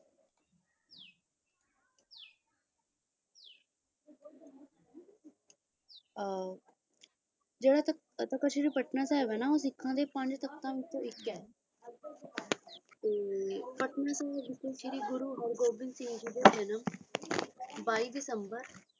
ਅਹ ਜਿਹੜਾ ਤਖ਼ਤ ਸ੍ਰੀ ਪਟਨਾ ਉਹ ਸਿੱਖਾਂ ਦੇ ਤਖ਼ਤਾਂ ਵਿੱਚੋਂ ਇਕ ਹੈ ਤੇ ਸਿਰੀ ਪਟਨਾ ਦੇ ਜਿਹੜੇ ਗੁਰੂ ਹਰਭਜਨ ਕੌਰ ਬੀਸ ਦਿਸੰਬਰ